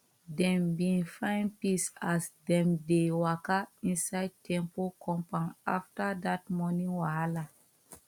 dem bin find peace as dem dey waka inside temple compound after that morning wahala